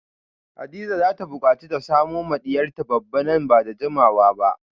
Hadiza zata bukaci ta samo ma diyarta babba nan bada jimawa ba